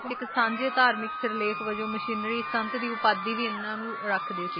ਇੱਕ ਸਾਂਝੇ ਧਾਰਮਿਕ ਸਿਰਲੇਖ ਵਜੋਂ ਮਿਸ਼ਨਰੀ ਸੰਤ ਦੀ ਉਪਾਧੀ ਵੀ ਇਨ੍ਹਾਂ ਨੂੰ ਰੱਖਦੇ ਸੀਗੇ ਹਾਂ ਜੀ